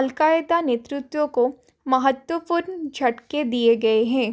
al Qaeda नेतृत्व को महत्वपूर्ण झटके दिए गए हैं